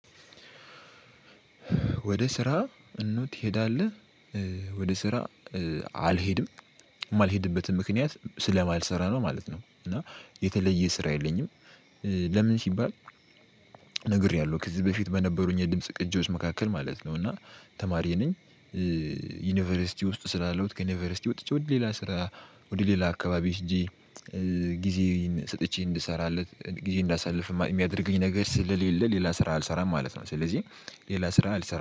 ወደ ስራ እኑ ትሄዳለህ? ወደ ስራ አልሄድም። የማልሄድበትን ምክንያት ስለማልሰራ ነው ማለት ነው። እና የተለየ ስራ የለኝም። ለምን ሲባል ነግሬያለሁ ከዚህ በፊት በነበሩኝ የድምጽ ቅጂዎች መካከል ማለት ነው። እና ተማሪ ነኝ ዩኒቨርሲቲ ውስጥ ስላለው ከዩኒቨርሲቲ ወጥቼ ወደ ሌላ ስራ ወደ ሌላ አካባቢ እንጂ ጊዜዬን ሰጥቼ እንድሰራለት ጊዜ እንዳሳልፍማ የሚያደርገኝ ነገር ስለሌለ ሌላ ስራ አልሰራም ማለት ነው። ስለዚህ ሌላ ስራ አልሰራም።